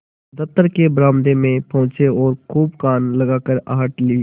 दफ्तर के बरामदे में पहुँचे और खूब कान लगाकर आहट ली